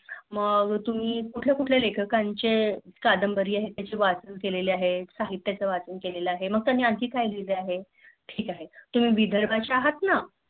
मग तुम्ही कुठल्या कुठल्या लेखकाचे साहित्य कादंबरी वाचन केले आहे साहित्य वाचन केले आहे? मग त्यानी आणखी काय लिहाल आहे ठीक आहे तुम्ही विदर्भाचे आहेत ना?